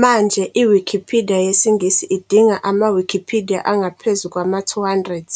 Manje i-Wikipidiya yesiNgisi idinga ama-Wikipidiya angaphezu kwama-200,